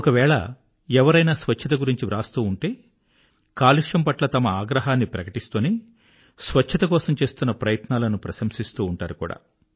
ఒకవేళ ఎవరైనా స్వచ్ఛత గురించి వ్రాస్తూ ఉంటే కాలుష్యం పట్ల తమ ఆగ్రహాన్ని ప్రకటిస్తూనే స్వచ్ఛత కోసం చేస్తున్న ప్రయత్నాలను ప్రశంసిస్తూ ఉంటారు కూడా